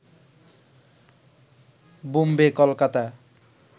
Bombay Kolkata